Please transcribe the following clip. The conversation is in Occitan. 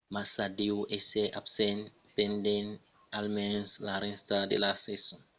massa deu èsser absent pendent almens la rèsta de la sason 2009